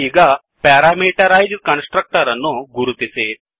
ಈಗ parameterized constructor ಅನ್ನು ಗುರುತಿಸಿ